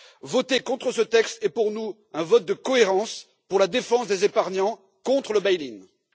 Voter contre ce texte est pour nous un vote de cohérence pour la défense des épargnants contre le bail in